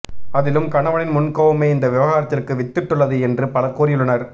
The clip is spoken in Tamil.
அதிலும் கணவனின் முன்கோபமே இந்த விவாகரத்திற்கு வித்திட்டுள்ளது என்று பலர் கூறியுள்ளனர்